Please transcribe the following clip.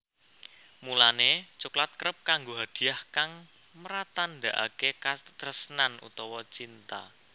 Mulané coklat kerep kanggo hadiah kang mratandakaké katresnan utawa cinta